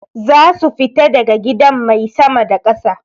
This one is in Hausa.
Zasu fita daga gidan mai sama da ƙasa.